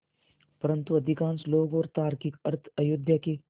परन्तु अधिकांश लोग और तार्किक अर्थ अयोध्या के